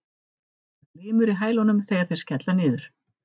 Það glymur í hælunum þegar þeir skella niður.